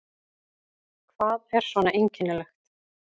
Hvað er svona einkennilegt?